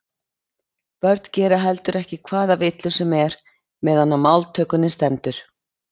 Börn gera heldur ekki hvaða villu sem er meðan á máltökunni stendur.